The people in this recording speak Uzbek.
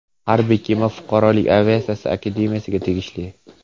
Harbiy kema fuqarolik aviatsiyasi Akademiyasiga tegishli.